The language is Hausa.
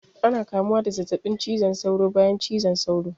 Ana kamuwa da zazzaɓin cizon saura bayan cizon sauro